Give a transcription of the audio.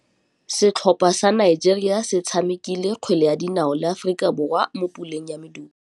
Setlhopha sa Nigeria se tshamekile kgwele ya dinaô le Aforika Borwa mo puleng ya medupe.